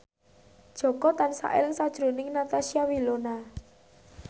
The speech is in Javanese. Jaka tansah eling sakjroning Natasha Wilona